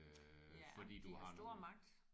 Ja de har stor magt